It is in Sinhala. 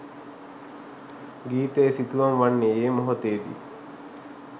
ගීතය සිතුවම් වන්නේ ඒ මොහොතේ දී